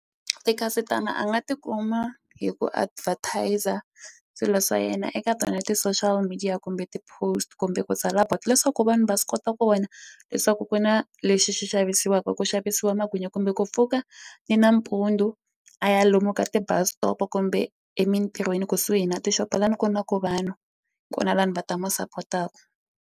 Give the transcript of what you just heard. Tikhasitamu a nga tikuma hi ku advertiser swilo swa yena eka tona ti-social media kumbe ti-post kumbe ku tsala board leswaku vanhu va swi kota ku vona leswaku ku na lexi xi swi xavisiwaka ku xavisiwa magwinya kumbe ku pfuka ni nampundzu a ya lomu ka ti-bus stop kumbe emintirhweni kusuhi na tixopo la ni ku na ku vanhu kona vanhu va ta mu sapotaka.